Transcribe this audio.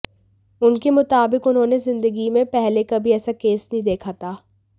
उनके मुताबिक उन्होंने जिदंगी में पहले कभी ऐसा केस नहीं देखा था